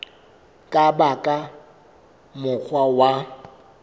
ka ba ka mokgwa wa